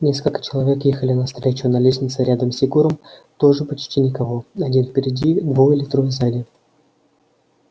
несколько человек ехали навстречу на лестнице рядом с егором тоже почти никого один впереди двое или трое сзади